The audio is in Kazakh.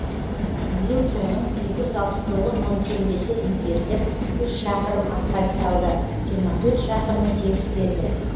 биыл соның екі жүз алпыс тоғыз мың теңгесі игеріліп үш шақырым асфальтталды жиырма төрт шақырымы тегістелді